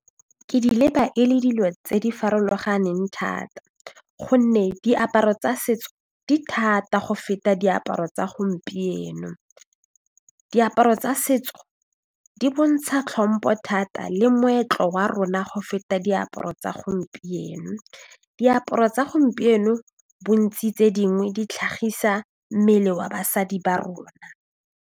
Ke di leba e le dilo tse di farologaneng thata gonne diaparo tsa setso di thata go feta diaparo tsa gompieno. Diaparo tsa setso di bontsha tlhompho thata le moetlo wa rona go feta diaparo tsa gompieno, diaparo tsa gompieno bontsi tse dingwe di tlhagisa mmele wa basadi ba rona.